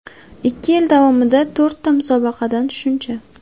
Ikki yil davomida to‘rtta musobaqadan shuncha.